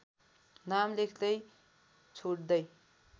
नाम लेख्दै छोड्दै